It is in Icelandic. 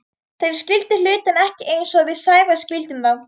Þeir skildu hlutina ekki eins og við Sævar skildum þá.